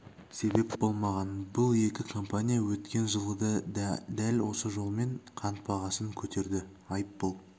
себеп болмаған бұл екі компания өткен жылы да дәл осы жолмен қант бағасын көтерді айыппұл